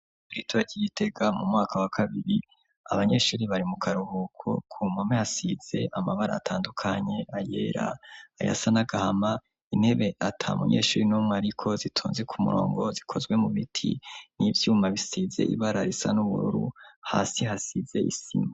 turitura ry'igitega mu mwaka wa kabiri, abanyeshuri bari mu karuhuko, ku mpome hasize amabara atandukanye, ayera, ayasa n'agahama, intebe ata munyeshuri numwe ariko, zitonze ku murongo, zikozwe mu biti n'ivyuma bisize ibara risa n'ubururu, hasi hasize isima.